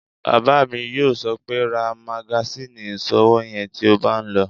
Bàbá mi yóò sọ pé "ra magasíìnì ìṣòwò yẹn tí o bá n lọ!"